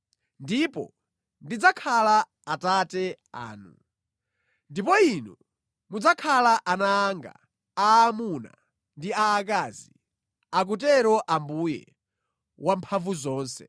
Ndipo “Ndidzakhala Atate anu, ndipo inu mudzakhala ana anga aamuna ndi aakazi, akutero Ambuye, Wamphamvuzonse.”